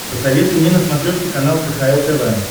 посоветуй мне на смотрешке канал кхл тв